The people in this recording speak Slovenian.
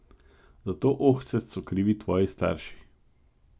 Za to ohcet so krivi tvoji starši.